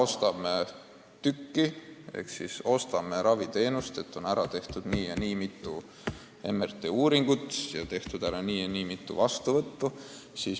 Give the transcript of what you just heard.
Praegu me ostame raviteenuseid: on ära tehtud nii ja nii mitu MRT-uuringut ning tehtud nii ja nii mitu vastuvõttu.